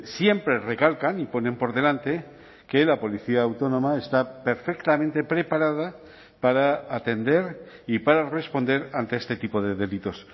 siempre recalcan y ponen por delante que la policía autónoma está perfectamente preparada para atender y para responder ante este tipo de delitos